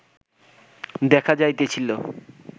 দেখা যাইতেছিল